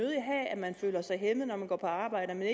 at man føler sig hæmmet når man går på arbejde og